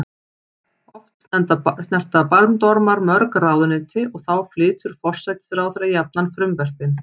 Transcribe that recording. Oft snerta bandormar mörg ráðuneyti og þá flytur forsætisráðherra jafnan frumvörpin.